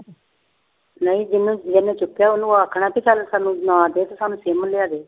ਨਹੀਂ ਜਿਹਨੇ ਜਿਹਨੇ ਚੁੱਕਿਆ ਉਹਨੂੰ ਆਖਣਾ ਵੀ ਚੱਲ ਸਾਨੂੰ ਨਾ ਦੇ ਤੇ ਸਾਨੂੰ ਸਿਮ ਲਿਆ ਦੇ।